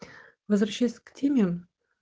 возвращаясь к теме